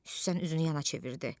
Süslən üzünü yana çevirdi.